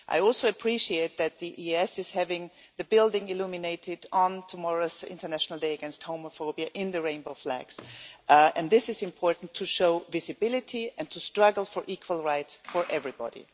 I also appreciate that the EAS is having the building illuminated on tomorrow's International Day Against Homophobia in the rainbow flags, and this is important to show visibility and to struggle for equal rights for everybody.